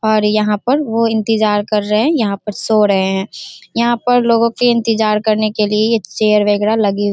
और यहाँ पर वो इंतजार कर रहे हैं यहाँ पर सो रहे हैं यहाँ पर लोगों के इंतजार करने के लिए ये चेयर वगेरा लगी हुई --